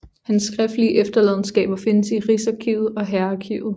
Hans skriftlige efterladenskaber findes i Rigsarkivet og Hærarkivet